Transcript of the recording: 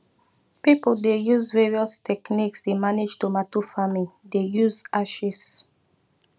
people dey use various techniques dey manage tomato farming dey use ashes